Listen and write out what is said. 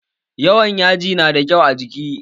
Yawan yaji na da kyau a jiki?